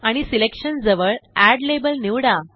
आणि सिलेक्शन जवळ add label निवडा